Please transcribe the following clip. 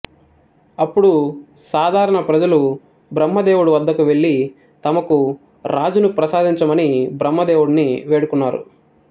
అప్పుడు సాధారణ ప్రజలు బ్రహ్మదేవుడి వద్దకు వెళ్ళి తమకు రాజును ప్రసాదించమని బ్రహ్మదేవుడిని వేడుకున్నారు